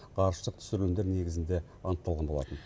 ғарыштық түсірілімдер негізінде анықталған болатын